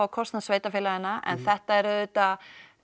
kostnað sveitafélaga en þetta er auðvitað